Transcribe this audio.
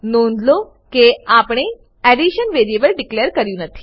નોંધ લો કે આપણે એડિશન વેરીએબલ ડીકલેર કર્યું નથી